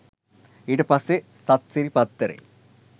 ඊට පස්සෙ සත්සිරි පත්තරේ